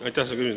Aitäh!